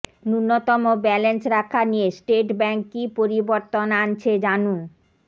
নূন্যতম ব্যালেন্স রাখা নিয়ে স্টেট ব্যাঙ্ক কী পরিবর্তন আনছে জানুন